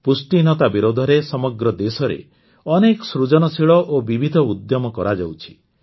ପୁଷ୍ଟିହୀନତା ବିରୋଧରେ ସମଗ୍ର ଦେଶରେ ଅନେକ ସୃଜନଶୀଳ ଓ ବିବିଧ ଉଦ୍ୟମ କରାଯାଉଛି